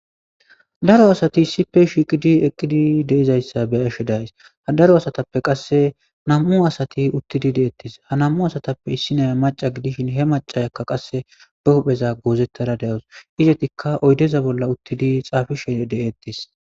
daro asati issipe shiiqidi eqqidi deizayssa be ashe days ha daro asatappe qasse nam7u asati uttidi deettes ha nam7u asatappe issi naya maca gidishin he macayakka qasse be hupheza goozettara de7awus izatikka oydeza bolla uttidi xaafishen de7ettes